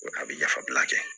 A bɛ yafabila kɛ